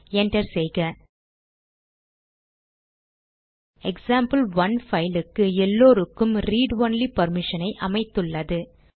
enter செய்க example one பைலுக்கு எல்லாருக்கும் ரீட் ஒன்லி பர்மிஷனை அமைத்துள்ளது